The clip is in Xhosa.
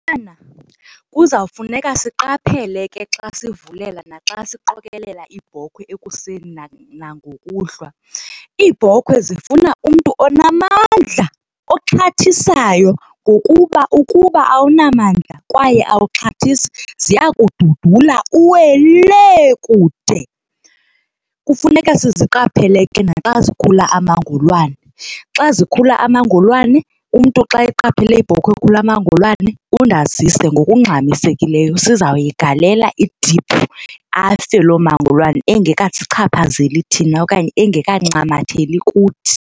kuzawufuneka siqaphele ke xa sivulela naxa siqokelela iibhokhwe ekuseni nangokuhlwa. Iibhokhwe zifuna umntu onamandla, oxhathisayo ngokuba ukuba awunamdla kwaye awaxhathisi ziya kududula uwele lee kude. Kufuneka siziqaphele ke naxa zikhula amangolwane xa zikhula amangolwane umntu xa eqaphele ibhokhwe ekhula amangolwane undazise ngokungxamisekileyo sizawuyigalela idiphu afe loo mangolwane engekasichaphazeli thina okanye engekancamatheli kuthi.